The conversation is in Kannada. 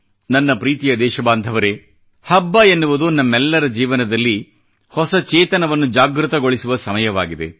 ನನ್ನ ಪ್ರೀತಿಯ ದೇಶಬಾಂಧವರೇ ಹಬ್ಬ ಎನ್ನುವುದು ನಮ್ಮೆಲ್ಲರ ಜೀವನದಲ್ಲಿ ಹೊಸ ಚೇತನವನ್ನು ಜಾಗೃತಗೊಳಿಸುವ ಸಮಯವಾಗಿದೆ